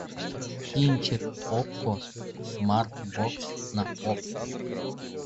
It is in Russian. кинчик окко смарт бокс на окко